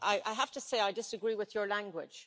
I have to say I disagree with your language.